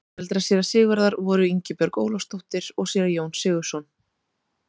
Foreldrar séra Sigurðar voru Ingibjörg Ólafsdóttir og séra Jón Sigurðsson.